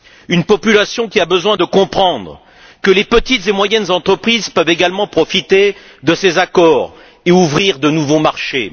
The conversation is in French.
Une population qui a besoin de comprendre que les petites et moyennes entreprises peuvent également profiter de ces accords et ouvrir de nouveaux marchés